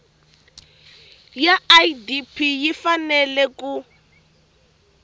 ya idp yi fanele ku